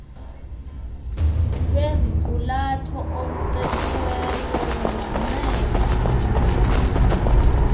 lweziqulatho olucetyiweyo lunganceda